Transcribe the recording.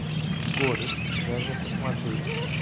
горец дай мне посмотреть